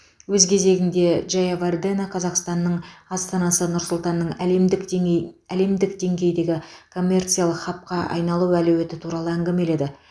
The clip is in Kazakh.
өз кезегінде джаявардена қазақстанның астанасы нұр сұлтанның әлемдік деңей әлемдік деңгейдегі коммерциялық хабқа айналу әлеуеті туралы әңгімеледі